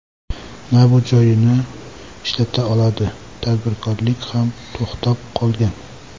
Na bu joyini ishlata oladi, tadbirkorlik ham to‘xtab qolgan.